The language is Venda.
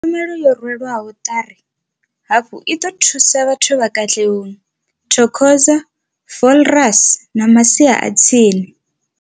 Tshumelo yo rwelwaho ṱari hafhu i ḓo thusa vhathu vha Katlehong, Thokoza, Vosloorus na masia a tsini.